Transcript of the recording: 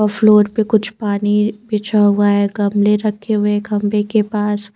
Floor पे कुछ पानी बिछा हुआ है गमले रखे हुए है खंबे के पास।